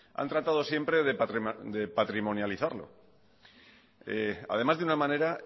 han tratado siempre de patrimonializarlo además de una manera